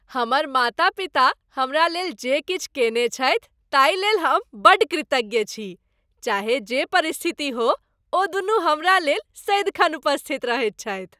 हमर माता पिता हमरा लेल जे किछु कयने छथि ताहि लेल हम बड्ड कृतज्ञ छी। चाहे जे परिस्थिति होय ओदुनू हमरा लेल सदिखन उपस्थित रहैत छथि।